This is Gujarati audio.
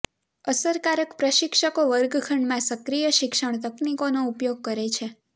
અસરકારક પ્રશિક્ષકો વર્ગખંડમાં સક્રિય શિક્ષણ તકનીકોનો ઉપયોગ કરે છે